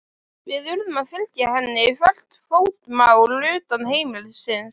Við urðum að fylgja henni hvert fótmál utan heimilisins.